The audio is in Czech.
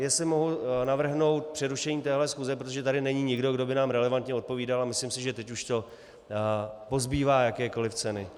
Jestli mohu navrhnout přerušení téhle schůze, protože tady není nikdo, kdo by nám relevantně odpovídal, a myslím si, že teď už to pozbývá jakékoliv ceny.